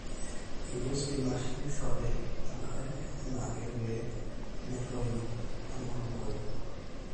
eyieu spinash neishorri enkare enaake pee metoyu enkulukuoni